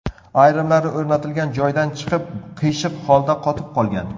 Ayrimlari o‘rnatilgan joydan chiqib, qiyshiq holda qotib qolgan.